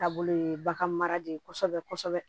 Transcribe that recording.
Taabolo ye bagan mara de ye kosɛbɛ kosɛbɛ